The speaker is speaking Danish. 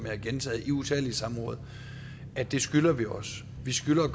har gentaget i utallige samråd at det skylder vi os vi skylder at